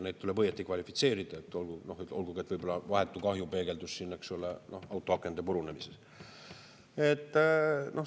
Neid tuleb õigesti kvalifitseerida, olgugi et vahetu kahju peegeldus, eks ole, autoakende purunemises.